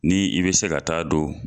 Ni i bɛ se ka taa don